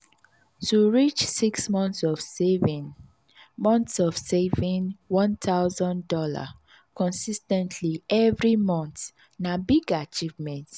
to reach six monts of saving monts of saving one thousand dollars consis ten tly every mont na big achievement.